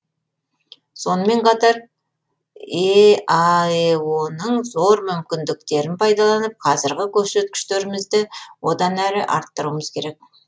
сонымен қатар еаэо ның зор мүмкіндіктерін пайдаланып қазіргі көрсеткіштерімізді одан әрі арттыруымыз керек